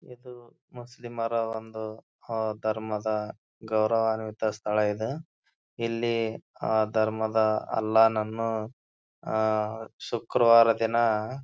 ಇದು ಮುಸ್ಲಿಮರ ಒಂದು ಅಹ್ ಧರ್ಮದ ಗೌರವಾನ್ವಿತ ಸ್ಥಳ ಇದೆ. ಇಲ್ಲಿ ಆ ಧರ್ಮದ ಅಲ್ಲಾನನ್ನು ಆಹ್ಹ್ ಶುಕ್ರವಾರ ದಿನ--